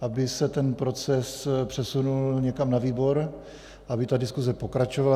aby se ten proces přesunul někam na výbor, aby ta diskuze pokračovala.